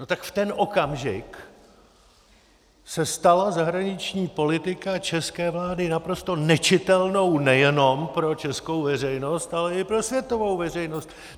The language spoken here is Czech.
No tak v ten okamžik se stala zahraniční politika české vlády naprosto nečitelnou nejenom pro českou veřejnost, ale i pro světovou veřejnost.